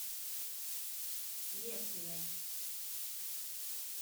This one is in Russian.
левкиной